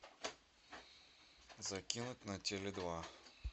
закинуть на теле два